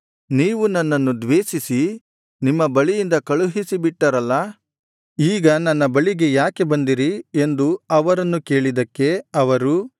ನೀವು ನನ್ನನ್ನು ದ್ವೇಷಿಸಿ ನಿಮ್ಮ ಬಳಿಯಿಂದ ಕಳುಹಿಸಿ ಬಿಟ್ಟಿರಲ್ಲಾ ಈಗ ನನ್ನ ಬಳಿಗೆ ಯಾಕೆ ಬಂದಿರಿ ಎಂದು ಅವರನ್ನು ಕೇಳಿದ್ದಕ್ಕೆ ಅವರು